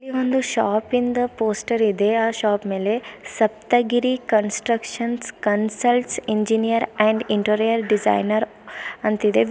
ಒಂದು ಶಾಪ್ ಇಂದ ಪೋಸ್ಟರ್ ಇದೆ ಆ ಶಾಪ್ ಮೇಲೆ Saptagiri constructions consults engineer and interior designer ಅಂತಿದೆ.